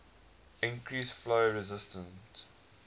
increase flow resistance